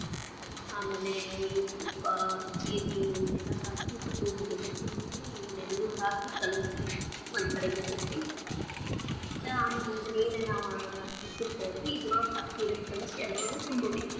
ಆಮೇಲೆ ಈ ಉಪ್ಪ, ಜೀರಗಿ ಇವನ್ನೆಲ್ಲ ಹಾಕಿ ರುಬ್ಬ ಬೇಕರಿ ರುಬ್ಬಿ ಇವನ್ನ ಎರಡು ಹಾಕಿ ಕಲ್ಸ್ಬೇಕರಿ ಒಂದ್ ಕಡೆ ಇಡ್ಬೇಕರಿ ಇಟ್ಟ ಆಮೇಲೆ ಇದನ್ನ ಏನ ನಾವ ಹೆಚ್ಚಿರತೆವಲ್ಲರೀ ಇದರೊಳಗ ಹಾಕಿ ಅದನ್ನ ಕಲಿಸಿ ಅದ್ರೊಳಗ ತುಂಬಬೇಕರಿ.